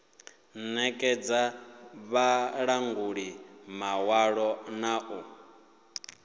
nekedza vhalanguli maṅwalo na u